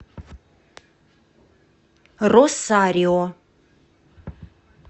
росарио